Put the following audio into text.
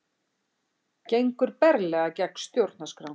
Gengur berlega gegn stjórnarskrá